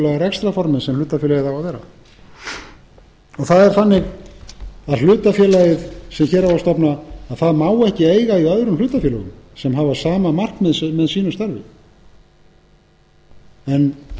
rekstrarformi sem hlutafélagið á að vera það er þannig að hlutafélagið sem hér á að stofna má ekki eiga í öðrum hlutafélögum sem hafa sama markmið með sínu starfi en